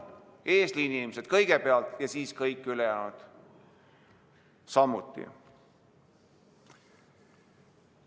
Eesliini inimesed kõigepealt ja siis kõik ülejäänud samuti.